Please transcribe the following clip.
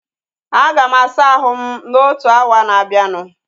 A ga m asa ahụ m na otu awa na abianu